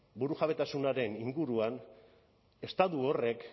burujabetasunaren inguruan estatu horrek